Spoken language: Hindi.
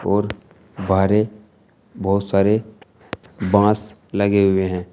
और बाहरें बहुत सारे बांस लगे हुए हैं।